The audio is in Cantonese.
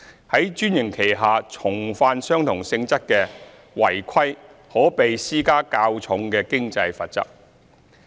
在專營期下重犯相同性質的違規可被施加較重的經濟罰則。